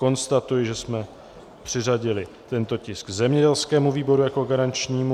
Konstatuji, že jsme přiřadili tento tisk zemědělskému výboru jako garančnímu.